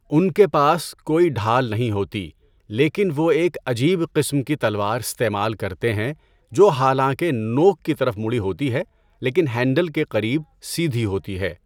ان کے پاس کوئی ڈھال نہیں ہوتی لیکن وہ ایک عجیب قسم کی تلوار استعمال کرتے ہیں جو حالانکہ نوک کی طرف مڑی ہوتی ہے لیکن ہینڈل کے قریب سیدھی ہوتی ہے۔